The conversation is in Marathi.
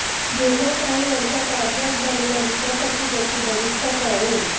गेल्या काही वर्षांत राज्यात झालेल्या विकासाची गती भविष्यात वाढेल